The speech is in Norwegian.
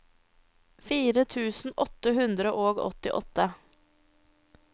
fire tusen åtte hundre og åttiåtte